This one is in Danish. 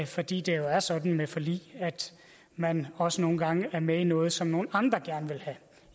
fordi det jo er sådan med forlig at man også nogle gange er med i noget som nogle andre gerne vil have